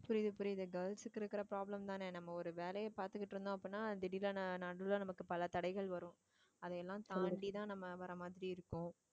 புரியுது புரியுதா girls க்கு இருக்கிற problem தானே நம்ம ஒரு வேலையை பார்த்துக்கிட்டு இருந்தோம் அப்படின்னா திடீர்ன்னு ந~ நான் நடுவுல, நமக்கு பல தடைகள் வரும் அதையெல்லாம் தாண்டிதான் நம்ம வர மாதிரி இருக்கும்